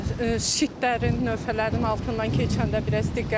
Şitlərinin, növhələrinin altından keçəndə biraz diqqətli.